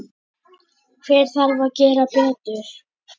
Hver þarf að gera betur?